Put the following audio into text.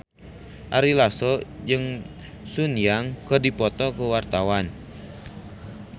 Ari Lasso jeung Sun Yang keur dipoto ku wartawan